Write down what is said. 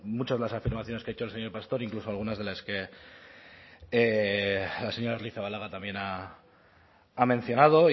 muchas de las afirmaciones que ha hecho el señor pastor incluso algunas de las que la señora arrizabalaga también ha mencionado